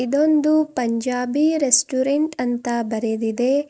ಇದೊಂದು ಪಂಜಾಬಿ ರೆಸ್ಟೋರೆಂಟ್ ಅಂತ ಬರೆದಿದೆ.